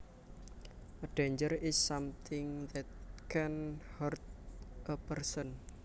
A danger is something that can hurt a person